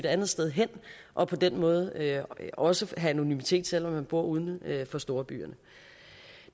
andet sted hen og på den måde også have anonymitet selv om man bor uden for storbyerne